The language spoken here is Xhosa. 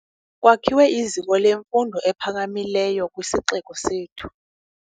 Kwakhiwe iziko lemfundo ephakamileyo kwisixeko sethu.